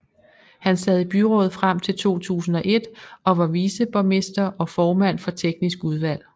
Han sad i byrådet frem til 2001 og var viceborgmester og formand for teknisk udvalg